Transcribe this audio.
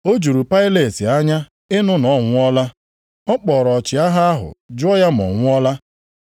Ọ juru Pailet anya ịnụ na ọ nwụọla. Ọ kpọrọ ọchịagha ahụ jụọ ya ma ọ nwụọla.